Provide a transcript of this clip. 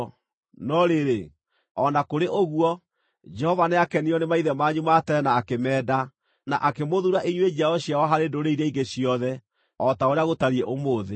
No rĩrĩ, o na kũrĩ ũguo, Jehova nĩakenirio nĩ maithe manyu ma tene na akĩmeenda, na akĩmũthuura inyuĩ njiaro ciao harĩ ndũrĩrĩ iria ingĩ ciothe, o ta ũrĩa gũtariĩ ũmũthĩ.